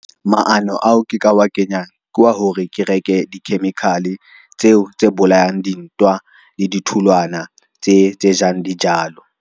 Maano ao ke ka wa kenyang kwa hore ke reke di-chemical tseo tse bolayang dintwa le ditholwana tse jang dijalo.